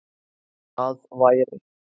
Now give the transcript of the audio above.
Það væri